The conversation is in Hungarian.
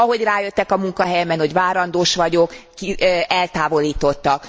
Ahogy rájöttek a munkahelyemen, hogy várandós vagyok, eltávolítottak.